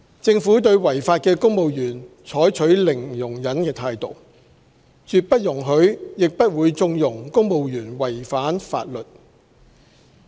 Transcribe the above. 政府對違法的公務員採取零容忍態度，絕不容許亦不會縱容公務員違反法律。